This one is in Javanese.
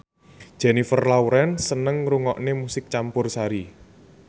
Jennifer Lawrence seneng ngrungokne musik campursari